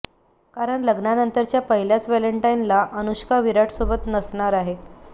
कारण लग्नानंतरच्या पहिल्याच वॅलेंटाईनला अनुष्का विराट सोबत नसणार आहे